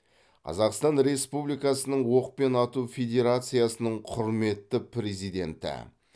қазақстан республикасының оқпен ату федерациясының құрметті президенті